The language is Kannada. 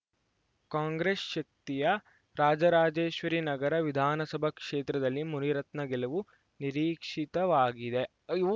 ಕಾಂಗ್ರೆಸ್‌ ಶಕ್ತಿಯ ರಾಜರಾಜೇಶ್ವರಿನಗರ ವಿಧಾನಸಭಾ ಕ್ಷೇತ್ರದಲ್ಲಿ ಮುನಿರತ್ನ ಗೆಲುವು ನಿರೀಕ್ಷಿತವಾಗಿದೆ ಅಯ್ಯೋ